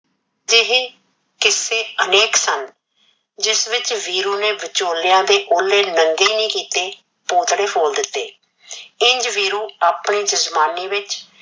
ਅਦੇਹੇ ਕੀਸੇ ਅਨੇਕ ਸਨ, ਜਿਸ ਵਿੱਚ ਵੀਰੂ ਨੇ ਵਚੋਲਿਆਂ ਦੇ ਓਲੇ ਨਗੇ ਨੀ ਕੀਤੇ ਪੋਤੜੇ ਫੋਲ ਦੀਤੇ, ਇੰਝ ਵੀਰੂ ਆਪਣੇ ਜਜਮਾਨੀ ਵਿੱਚ